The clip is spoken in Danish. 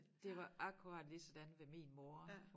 Det var akkurat lige sådan ved min mor